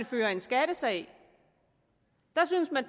fører en skattesag der synes man